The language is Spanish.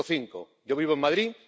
Yo tengo cinco, yo vivo en Madrid